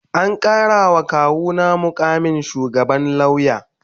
An karawa kawuna mukamin shugaban lauya